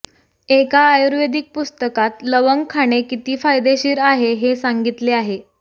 एका आयुर्वेदिक पुस्तकात लवंग खाणे किती फायदेशीर आहे हे सांगितले आहे